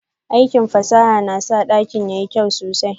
Aikin fasaha na sa dakin yayi kyau sosai.